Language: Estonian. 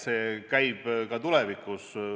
See käib ka tuleviku kohta.